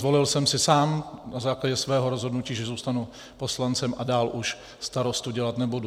Zvolil jsem si sám na základě svého rozhodnutí, že zůstanu poslancem a dál už starostu dělat nebudu.